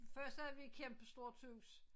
Først så have vi et kæmpestort hus